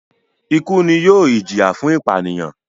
ikú ni yóò ìjìyà fún ìpànìyàn.